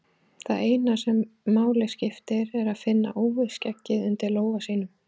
Það eina sem máli skiptir er að finna úfið skeggið undir lófa sínum.